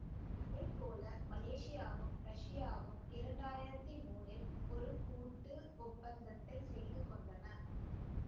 அதே போல மலேசியாவும் ரஷ்யாவும் இரண்டு ஆயிரத்தி மூனில் ஒரு கூட்டு ஒப்பந்தத்தைச் செய்து கொண்டன